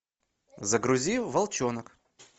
загрузи волчонок